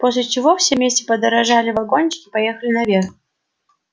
после чего все вместе подождали вагончик и поехали наверх